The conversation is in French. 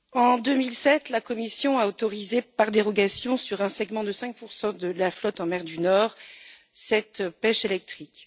En 2007, la Commission a autorisé, par dérogation, sur un segment de 5 de la flotte en mer du Nord, cette pêche électrique.